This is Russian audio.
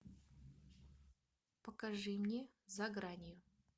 покажи мне за гранью